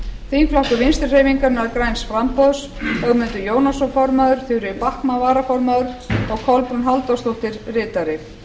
þingflokkur vinstri hreyfingarinnar græns framboðs ögmundur jónasson formaður þuríður backman varaformaður og kolbrún halldórsdóttir ritari